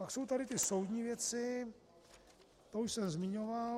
Pak jsou tady ty soudní věci, to už jsem zmiňoval.